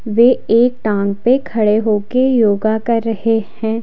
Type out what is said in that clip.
वे एक टांग पे खड़े होकर योगा कर रहे हैं।